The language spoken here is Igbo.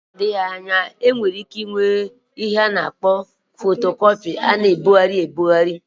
N'oge na-adịghị anya enwere ike inwe ịhe eji eme fotocopi nke enwere ike ina ebugharị.